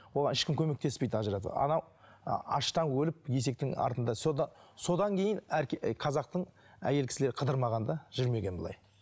оған ешкім көмектеспейді ажыратып анау аштан өліп есектің артында содан кейін қазақтың әйел кісілері қыдырмаған да жүрмеген былай